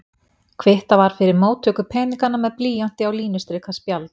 Kvittað var fyrir móttöku peninganna með blýanti á línustrikað spjald.